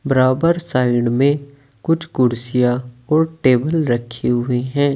बराबर साइड में कुछ कुर्सियां और टेबल रखी हुई हैं।